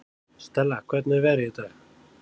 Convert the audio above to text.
Stella, hvernig er veðrið í dag?